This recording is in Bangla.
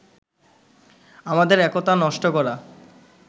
আমাদের একতা নষ্ট করা